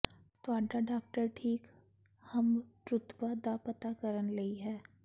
ਤੁਹਾਡਾ ਡਾਕਟਰ ਠੀਕ ਹਮਰੁਤਬਾ ਦਾ ਪਤਾ ਕਰਨ ਲਈ ਹੈ